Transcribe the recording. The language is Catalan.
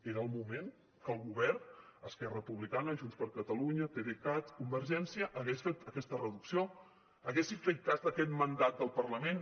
era el moment que el govern esquerra republicana junts per catalunya pdecat convergència hagués fet aquesta reducció haguessin fet cas d’aquest mandat del parlament